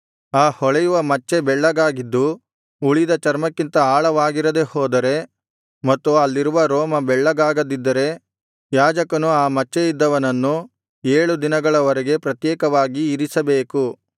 ಆ ಹೊಳೆಯುವ ಮಚ್ಚೆ ಬೆಳ್ಳಗಾಗಿದ್ದು ಉಳಿದ ಚರ್ಮಕ್ಕಿಂತ ಆಳವಾಗಿರದೆ ಹೋದರೆ ಮತ್ತು ಅಲ್ಲಿರುವ ರೋಮ ಬೆಳ್ಳಗಾಗದಿದ್ದರೆ ಯಾಜಕನು ಆ ಮಚ್ಚೆಯಿದ್ದವನನ್ನು ಏಳು ದಿನಗಳ ವರೆಗೆ ಪ್ರತ್ಯೇಕವಾಗಿ ಇರಿಸಬೇಕು